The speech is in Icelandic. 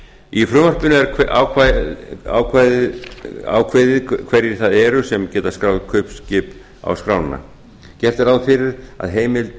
í frumvarpinu er ákveðið hverjir það eru sem geta skráð kaupskip á skrána gert er ráð fyrir að heimild